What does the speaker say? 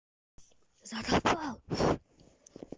закапал